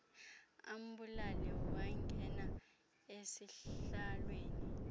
ambulale wangena esihlaalweni